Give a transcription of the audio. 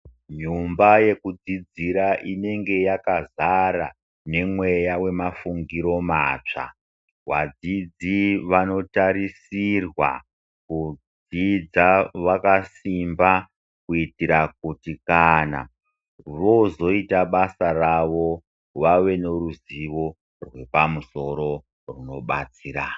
Nyumba yekudzidzira inenge yakazara nemweya wemafungiro matsva. Wadzidzi vanotarisirwa kudzidza vakasimba, kuitira kuti kana vozoita basa ravo vave neruzivo rwepamusoro rwunobatsira.